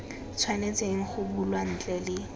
tshwanetseng go bulwa ntle le